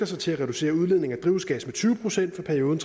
sig til at reducere udledningen af drivhusgasser med tyve procent for perioden